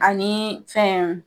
Ani fɛn